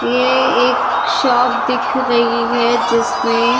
ये एक शॉप दिख रही है जिसमे।